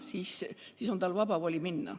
Ja tal peab olema vaba voli abi paluda.